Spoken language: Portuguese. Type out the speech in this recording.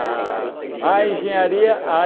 A A engenharia a